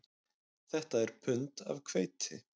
Þetta er pund af hveiti